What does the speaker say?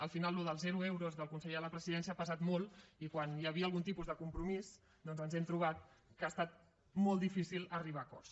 al final allò dels zero euros del conseller de la presidència ha pesat molt i quan hi havia algun tipus de compromís doncs ens hem trobat que ha estat molt difícil arribar a acords